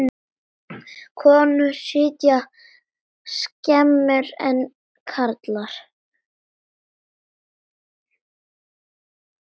Konur sitja skemur en karlar.